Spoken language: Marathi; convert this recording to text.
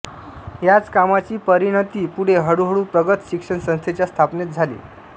याच कामाची परिणती पुढे हळूहळू प्रगत शिक्षण संस्थेच्या स्थापनेत झाली